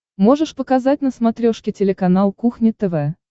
можешь показать на смотрешке телеканал кухня тв